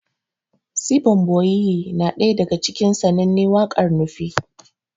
Sibon boyiye na ɗaya daga cikin sananne wakar Nufe